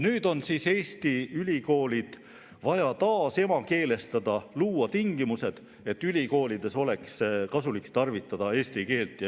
Nüüd on vaja Eesti ülikoolid taas emakeelestada, luua tingimused, et ülikoolides oleks kasulik tarvitada eesti keelt.